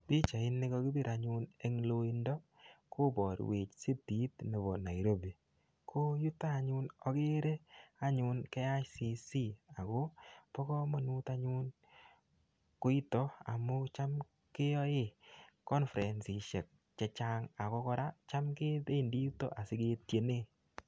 Picahit ni kakipir anyun eng loindo, koborwech sitit nebo Nairobi. Ko yutok anyun, akere KICC. Ako bo komonut anyun koitok amu cham keyae konfresishek chechang. Ako kora, cham kebendi yutok asiketiene.